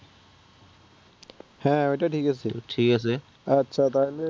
হ্যাঁ অইটা ঠিক আছে আছে আচ্ছা তাহলে